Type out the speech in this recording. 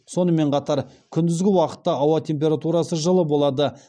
сонымен қатар күндізгі уақытта ауа температурасы жылы болады